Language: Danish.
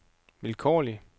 vilkårlig